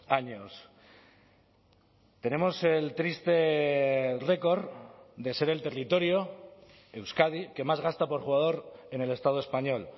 años tenemos el triste récord de ser el territorio euskadi que más gasta por jugador en el estado español